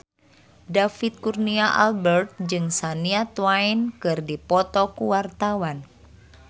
David Kurnia Albert jeung Shania Twain keur dipoto ku wartawan